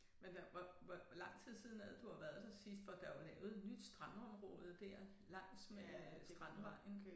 Men hvad hvor hvor hvor lang tid siden er det du har været der sidst for der jo lavet et nyt strandområde dér langs med Strandvejen